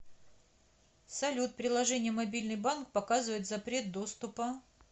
салют приложение мобильный банк показывает запрет доступа